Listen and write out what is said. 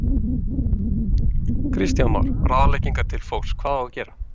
Kristján Már: Ráðleggingar til fólks, hvað á að gera?